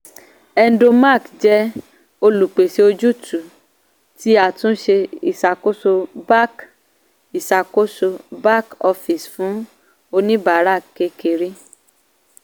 hedonmark jẹ́ olùpèsè ojútùú ti àtúnṣe ìsàkóso back ìsàkóso back office fún oníbàárà kékeré.